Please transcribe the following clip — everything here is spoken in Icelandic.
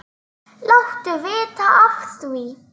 Láttu vita af því.